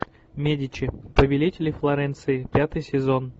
медичи повелители флоренции пятый сезон